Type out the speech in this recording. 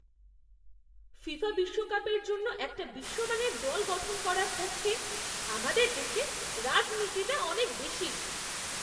FIFA বিশ্বকাপের জন্য একটা বিশ্বমানের দল গঠন করার পক্ষে আমাদের দেশে রাজনীতিটা অনেক বেশী।